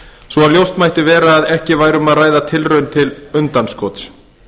svo ljóst mætti vera að ekki væri um að ræða tilraun til undanskots